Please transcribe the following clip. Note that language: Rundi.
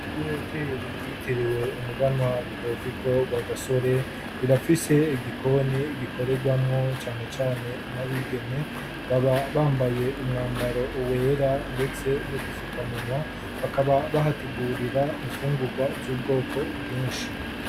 Ihoteri yitiriwe umuganwa rudoviko wa gasore irafise igikoni gikoregwamo cyane cyane n'abigeme baba bambaye umwambaro wera ndetse no dufukamunwa bakaba bahategurira ifungurwa z'ubwoko bwinshi.